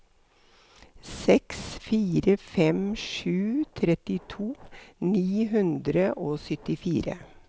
seks fire fem sju trettito ni hundre og syttifire